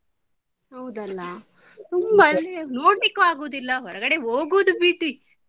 ಹೌದಲ್ಲ ತುಂಬಾ ಅಲ್ಲಿ ಹೋಗಿ ನೋಡ್ಲಿಕ್ಕು ಆಗುದಿಲ್ಲ ಹೊರಗಡೆ ಹೋಗುದು ಬಿಡಿ.